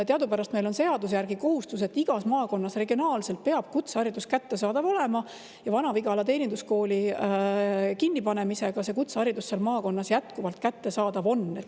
Teadupärast meil on seaduse järgi kohustus, et igas maakonnas regionaalselt peab kutseharidus kättesaadav olema, ja Vana-Vigala teeninduskooli kinnipanemisega on kutseharidus seal maakonnas jätkuvalt kättesaadav.